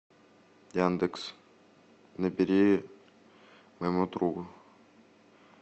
яндекс набери моему другу